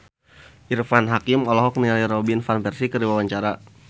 Irfan Hakim olohok ningali Robin Van Persie keur diwawancara